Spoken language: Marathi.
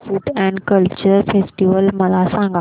Goa food and culture festival मला सांगा